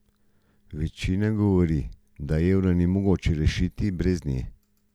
Večina govori, da evra ni mogoče rešiti brez nje.